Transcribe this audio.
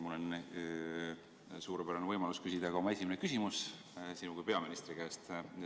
Mul on nüüd suurepärane võimalus küsida ka oma esimene küsimus sinu kui peaministri käest.